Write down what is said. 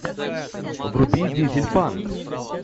вруби дизельпанк